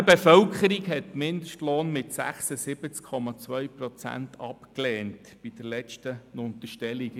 Die Berner Bevölkerung hat den Mindestlohn bei der letzten Urnenabstimmung mit 76,2 Prozent abgelehnt.